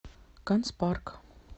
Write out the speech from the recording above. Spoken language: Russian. канцпарк